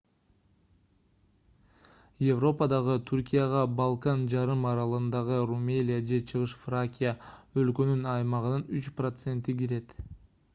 европадагы түркияга балкан жарым аралындагы румелия же чыгыш фракия өлкөнүн аймагынын 3% кирет